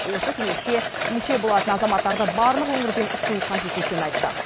осы кеңеске мүше болатын азаматтарды барлық өңірден ұсыну қажет екенін айтты